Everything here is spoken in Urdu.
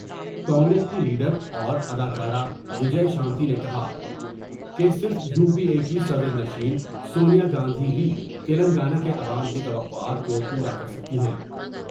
کانگریس کی لیڈ راوراداکارہ و جے شانتی نے کہا کہ صرف یو پی اے کی صدرنشین سونیا گاندھی ہی تلنگانہ کے عوام کی تو قعات کو پورا کر سکتی ہیں ۔